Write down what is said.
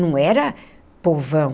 Não era povão.